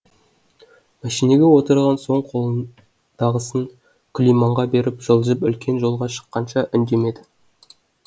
мәшинеге отырған соң қолындағысын күлиманға беріп жылжып үлкен жолға шыққанша үндемеді